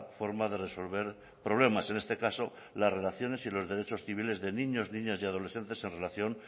forma de resolver problemas en este caso las relaciones y los derechos civiles de niños niñas y adolescentes en relación